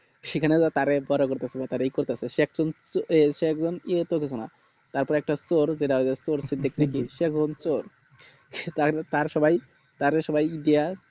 সেখানে বা তারে সে এক জন এই সব জন এতে কিছু না তারপরে একটা চোর সিদিকী তার তারে সবাই দিয়া